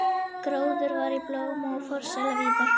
Gróður var í blóma og forsæla víða.